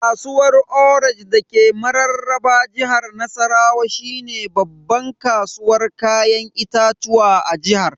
Kasuwar orange dake mararraba jihar Nassarawa shine babban kasuwar Kayan itatuwa a jihar.